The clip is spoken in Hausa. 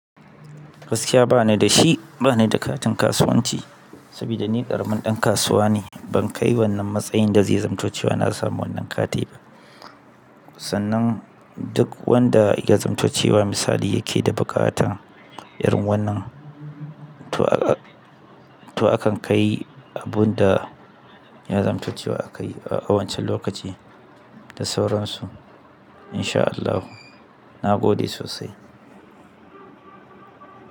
Gaskiya ba ni da shi, ba ni da katin kasuwanci saboda ni ƙaramin ɗan kasuwa ne. Ban kai wannan matsayin da zai zamto ce wa na samu wannan kati ba. Sannan duk wanda ya zamto cewa misali yake da buƙatan irin wannan, to akan kai abun da ya zamto ce wa a kai a wancan lokaci da sauransu in sha Allahu. Na gode sosai.